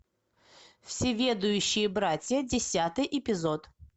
всеведущие братья десятый эпизод